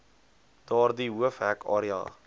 daardie hoofhek area